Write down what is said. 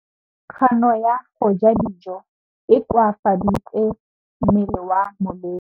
Kganô ya go ja dijo e koafaditse mmele wa molwetse.